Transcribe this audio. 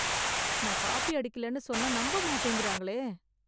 நான் காப்பி அடிக்கலன்னு சொன்னா நம்பமாட்டேங்கறாங்களே...